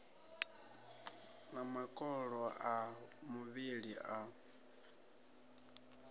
na makolo a muvhili a